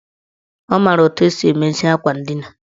Ọ maara etu esi emezi akwa ndina.